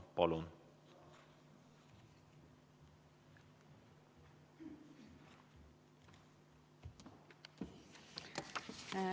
Palun!